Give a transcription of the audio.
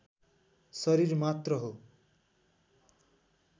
शरीर मात्र हो।